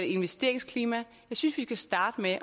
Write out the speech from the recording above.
investeringsklima jeg synes vi skal starte med